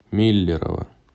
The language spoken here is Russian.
миллерово